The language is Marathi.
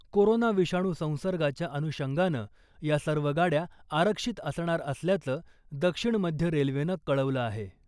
कोरोना विषाणू संसर्गाच्या अनुषंगानं या सर्व गाड्या आरक्षित असणार असल्याचं दक्षिण मध्य रेल्वेनं कळवलं आहे .